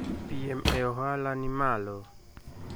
Piem e ohala nimalo.